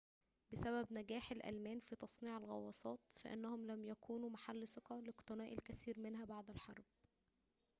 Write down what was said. بسبب نجاح الألمان في تصنيع الغواصات فإنهم لم يكونوا محل ثقة لاقتناء الكثير منها بعد الحرب